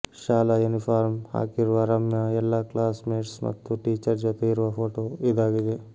ಶಾಲಾಯೂನಿಫಾರ್ಮ್ ಹಾಕಿರುವ ರಮ್ಯಾ ಎಲ್ಲಾ classmates ಮತ್ತು ಟೀಚರ್ ಜೊತೆ ಇರುವ ಫೋಟೋ ಇದಾಗಿದೆ